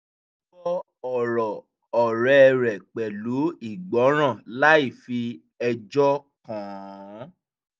ó gbọ́ ọ̀rọ̀ ọ̀rẹ́ rẹ̀ pẹ̀lú ìgbọràn láì fi ẹjọ́ kàn án